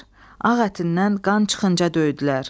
Ağ ətindən qan çıxınca döyədilər.